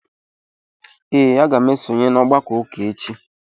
Ee, aga m esonye n'ọgbakọ ụka echi.